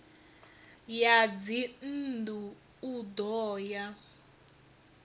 ya dzinnḓu u ḓo ya